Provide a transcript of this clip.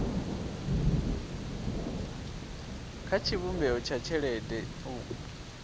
kha tshivhumbeo tsha tshelede u